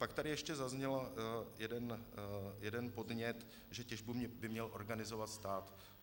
Pak tady ještě zazněl jeden podnět, že těžbu by měl organizovat stát.